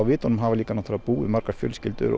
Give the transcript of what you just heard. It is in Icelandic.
vitunum hafa náttúrulega búið margar fjölskyldur